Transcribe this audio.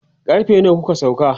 karfe nawa kuka sauka?